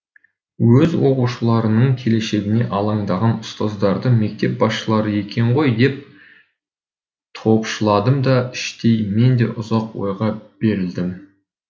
өз оқушыларының келешегіне алаңдаған ұстаздарды мектеп басшылары екен ғой деп топшыладым да іштей мен де ұзақ ойға берілдім